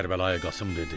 Kərbəlayi Qasım dedi: